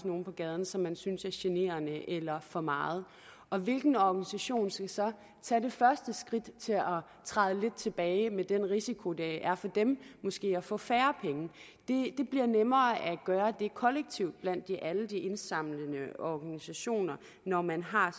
nogen på gaden som man synes er generende eller for meget og hvilken organisation skal så tage det første skridt til at træde lidt tilbage med den risiko det er for dem måske at få færre penge det bliver nemmere at gøre det kollektivt blandt alle de indsamlende organisationer når man har